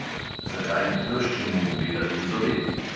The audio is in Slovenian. Zakaj bi teščemu gledali v zobe?